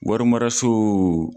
Wari maraso